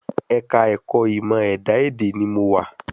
Ẹ̀ka ẹ̀kọ́ ìmọ̀ ẹ̀dá èdè ni mo wa